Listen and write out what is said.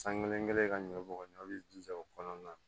San kelen kelen ka ɲɔ bɔn b'i jija o kɔnɔna na